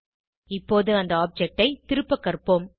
இப்போது அந்த ஆப்ஜெக்ட் ஐ திருப்ப கற்போம்